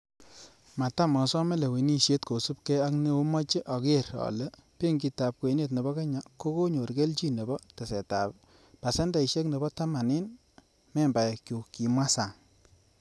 "Matam osome lewenisiet, kosiibge ak neomoche ager ale benkitab kwenet nebo kenya kokonyor kelchin nebo tesetab pasendeishek nebo taman en membaekyuk,''kimwa Sang.